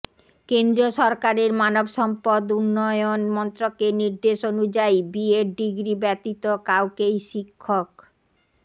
কেন্দ্রীয় সরকারের মানবসম্পদ উন্নয়ন মন্ত্রকের নির্দেশ অনুযায়ী বি এড ডিগ্রি ব্যতীত কাউকেই শিক্ষক